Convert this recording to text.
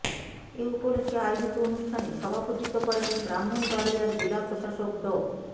এ উপলক্ষে আয়োজিত অনুষ্ঠানে সভাপতিত্ব করেন ব্রাহ্মণবাড়িয়ার জেলা প্রশাসক ড